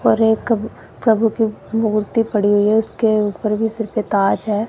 और एक प्रभु की मूर्ति पड़ी हुई है उसके ऊपर भी सिर पे ताज है।